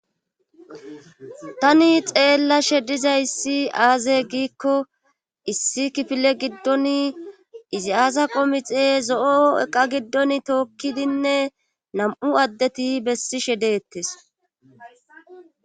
Tani xeella shediza issi aaze giikko issi kifile giddon izi aasa qomixe zo'o eqa giddon tookkidinne nam'u addeti bessi she deettes.